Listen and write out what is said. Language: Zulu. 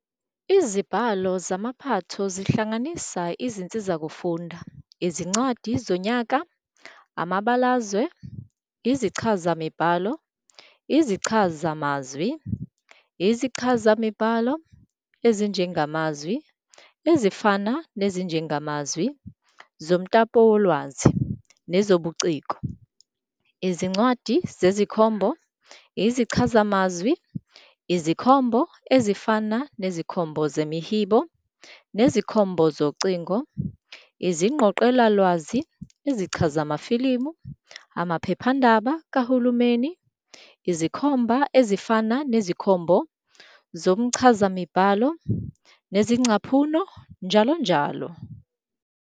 Izibhalo zamaphatho zihlanganisa izinsizakufunda, Izincwadi zonyaka, amabalazwe, izichazamibhalo, izichazamazwi ezichazimibhalo, izinjengamazwi ezifana nezinjengamazwi zomtapowolwazi nezobuciko, Izincwadi zezikhombo, izichazamazwi, izikhombo ezifana nezikhombo zemihibo nezikhombo zocingo, izingqoqelalwazi, izichazamafilimu, amaphephandaba kahulumeni, izikhomba ezifana nezikhombo zomchazamibhalo nezezingcaphuno, njll.